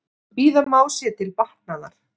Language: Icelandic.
Bíða má sér til batnaðar.